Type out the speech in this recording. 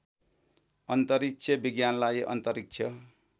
अन्तरिक्ष विज्ञानलाई अन्तरिक्ष